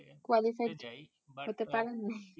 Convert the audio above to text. qualified হতে পারেন নাই